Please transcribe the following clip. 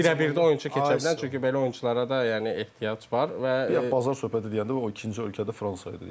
Birəbirdə oyunçu keçə bilən, çünki belə oyunçulara da yəni ehtiyac var və bazar söhbəti deyəndə o ikinci ölkədə Fransa idi.